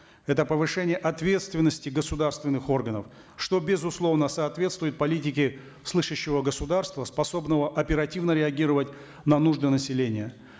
это повышение ответственности государственных органов что безусловно соответствует политике слышащего государства способного оперативно реагировать на нужды населения